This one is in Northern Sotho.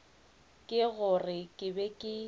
ke gore ke be ke